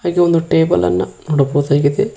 ಇದು ಒಂದು ಟೇಬಲ್ ಅನ್ನು ನೋಡಬಹುದಾಗಿದೆ.